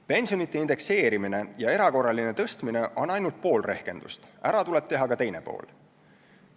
Pensionite indekseerimine ja erakorraline tõstmine on ainult pool rehkendust, ära tuleb teha ka teine pool.